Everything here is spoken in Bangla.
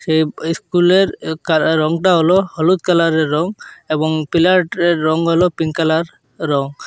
এই এই স্কুলের এ কারা রংটা হল হলুদ কালারের রং এবং পিলারটির রং হল পিংক কালার রং।